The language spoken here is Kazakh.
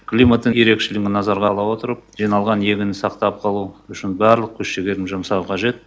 климаттың ерекшелігін назарға ала отырып жиналған егінді сақтап қалу үшін барлық күш жігерді жұмсау қажет